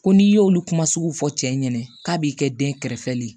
Ko n'i y'olu kuma sugu fɔ cɛ ɲɛna k'a b'i kɛ den kɛrɛfɛli ye